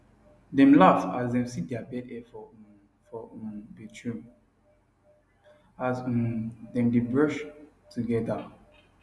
dem laugh as dem see their bed hair for um for um bathroom as um dem dae brush together